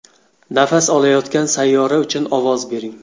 Nafas olayotgan sayyora uchun ovoz bering.